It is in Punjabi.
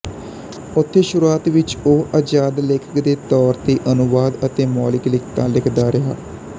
ਉੱਥੇ ਸ਼ੁਰੂਆਤ ਵਿੱਚ ਉਹ ਆਜਾਦ ਲੇਖਕ ਦੇ ਤੌਰ ਤੇ ਅਨੁਵਾਦ ਅਤੇ ਮੌਲਿਕ ਲਿਖਤਾਂ ਲਿਖਦਾ ਰਿਹਾ